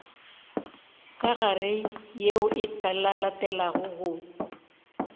ka gare yeo e latelago